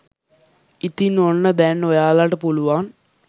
ඉතින් ඔන්න දැන් ඔයාලට පුළුවන්